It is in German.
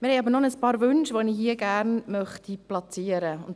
Wir haben aber noch ein paar Wünsche, welche ich hier gerne platzieren möchte.